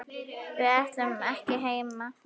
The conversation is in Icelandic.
Við ætlum ekki heim!